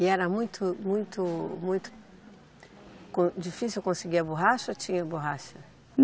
E era muito, muito, muito com, difícil conseguir a borracha ou tinha borracha?